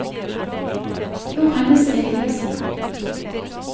Johannes Eliassen